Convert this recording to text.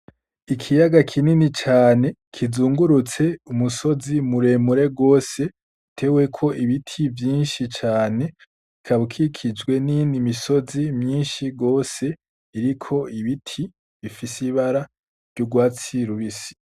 Ikiyaga kinini cane kizungurutse umusozi mure mure gose uteweko ibiti vyinshi cane ukaba ukikijwe n'iyindi misozi myinshi gose iriko ibiti bifise ibara ry'urwatsi rubisi.